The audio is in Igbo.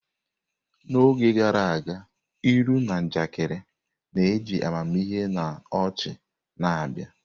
N'oge gara aga, ilu na njakịrị na-eji amamihe na ọchị na-abịa.